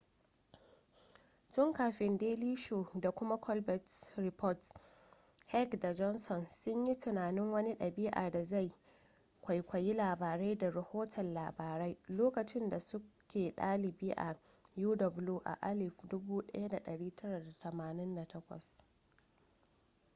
tun kafin daily show da kuma the colbert report heck da johnson sun yi tunanin wani ɗab'i da zai kwaikwayi labarai da rahoton labarai lokacin da suke dalibi a uw a 1988